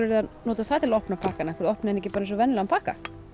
að nota það til að opna pakkann af hverju opnið þið hann ekki eins og venjulegan pakka